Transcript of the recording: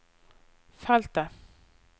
feltet